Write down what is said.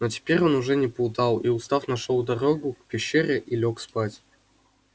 но теперь он уже не плутал и устав нашёл дорогу к пещере и лёг спать